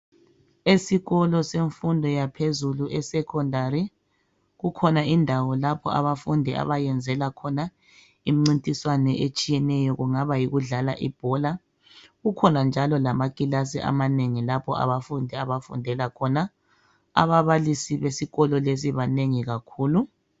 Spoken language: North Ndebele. Esikolo semfundo yaphezulu esekhondari kukhona indawo lapha abafundi abeyenzela khona imcintiswane etshiyeneyo kungaba yikudlala ibhola kukhona njalo lamakilasi amanengi lapho abafundi abafundela khona ababalisi besikolo lesi banengi kakhulu.